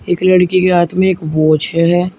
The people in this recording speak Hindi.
एक लड़की के हाथ में एक वॉच है।